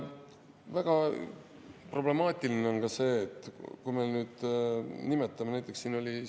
Väga problemaatiline on ka see, kuidas me nüüd nimetame.